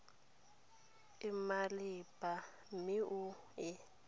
e maleba mme o e